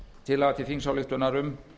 tillaga til þingsályktunar um